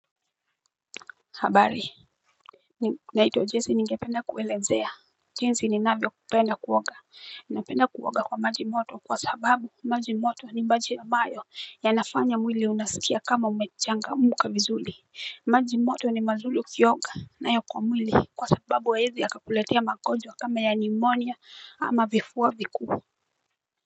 Habari naitwa Jesse ningependa kuelezea jinsi ninavyo kupenda kuoga napenda kuoga kwa maji moto kwa sababu maji moto ni maji ambayo yanafanya mwili unasikia kama umechangamuka vizuli maji moto ni mazuli ukioga nayo kwa mwili kwa sababu haiezi yakakuletea magonjwa kama ya pneumonia ama vifuwa viku.